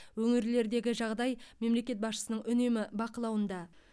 өңірлердегі жағдай мемлекет басшысының үнемі бақылауында